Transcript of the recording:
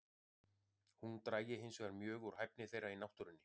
Hún drægi hinsvegar mjög úr hæfni þeirra í náttúrunni.